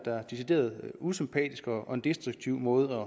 decideret usympatisk og en destruktiv måde